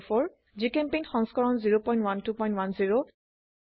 জিচেম্পেইণ্ট সংস্কৰণ 01210